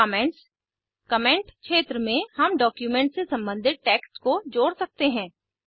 comments comment क्षेत्र में हम डॉक्यूमेंट से सम्बंधित टेक्स्ट को जोड़ सकते हैं